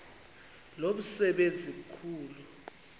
lo msebenzi mkhulu